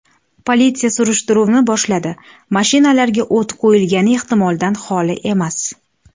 Politsiya surishtiruvni boshladi, mashinalarga o‘t qo‘yilgani ehtimoldan xoli emas.